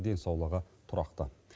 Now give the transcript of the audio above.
денсаулығы тұрақты